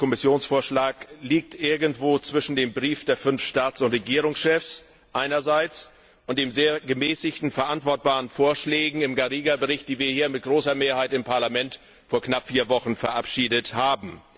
Der vorliegende Kommissionsvorschlag liegt irgendwo zwischen dem Brief der fünf Staats und Regierungschefs und den sehr gemäßigten, verantwortbaren Vorschlägen im Bericht Garriga, die wir hier mit großer Mehrheit im Parlament vor knapp vier Wochen verabschiedet haben.